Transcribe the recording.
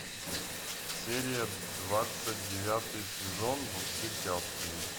серия двадцать девятый сезон во все тяжкие